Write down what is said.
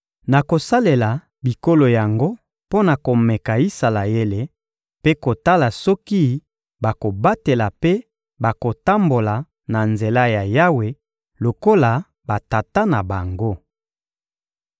Nakosalela bikolo yango mpo na komeka Isalaele mpe kotala soki bakobatela mpe bakotambola na nzela ya Yawe lokola batata na bango.»